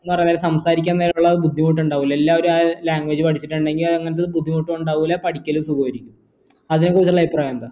സംസാരിക്കാൻ നേരം ഉള്ള ബുദ്ധിമുട്ട് ഇണ്ടാവൂലെ എല്ലാവരും ആ language പഠിച്ചിട്ട് ഇണ്ടേൽ അങ്ങനത്തെ ഒരു ബുദ്ധിമുട്ട് ഇണ്ടാവില്ല പഠിക്കലും സുഗമായിരിക്കും അതിനെ കുറിച്ചുള്ള അഭിപ്രായം എന്താ